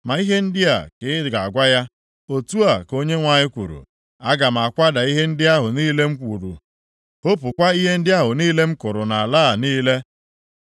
Ma ihe ndị a ka ị ga-agwa ya, ‘Otu a ka Onyenwe anyị kwuru, Aga m akwada ihe ndị ahụ niile m wuru, hopukwa ihe ndị ahụ niile m kụrụ nʼala + 45:4 Maọbụ, nʼụwa a niile.